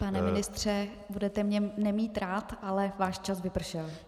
Pane ministře, budete mě nemít rád, ale váš čas vypršel.